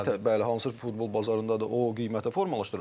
Bəli, hansı futbol bazarındadır, o qiyməti formalaşdırır.